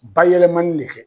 Bayɛlɛmanni le kɛ.